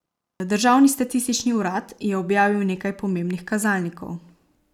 Državni statistični urad je objavil nekaj pomembnih kazalnikov.